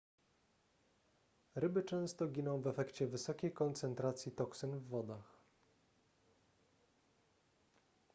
ryby często giną w efekcie wysokiej koncentracji toksyn w wodach